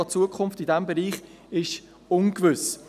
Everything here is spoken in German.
Auch die Zukunft in diesem Bereich ist ungewiss.